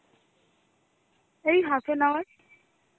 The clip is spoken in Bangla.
এই half an hour.